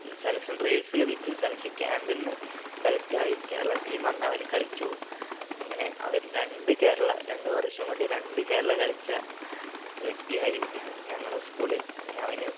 selection trails ലഭിച്ചു selection camp ന്ന് select ആയി കേരള team അന്ന് അവന് കളിച്ചു അങ്ങനെ അവൻ രണ്ട് കേരള രണ്ട് വർഷം കൊണ്ട് രണ്ട് കേരള കളിച്ച വ്യക്തിയായി ഞങ്ങ ഞങ്ങളെ school ൽ അങ്ങനെ അവന്